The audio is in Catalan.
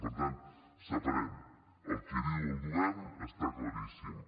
per tant separem el que diu el govern està claríssim